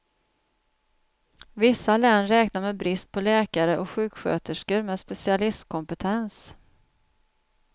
Vissa län räknar med brist på läkare och sjuksköterskor med specialistkompetens.